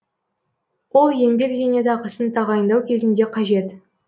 л еңбек зейнетақысын тағайындау кезінде қажет